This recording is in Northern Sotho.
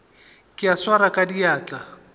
ka e swara ka diatla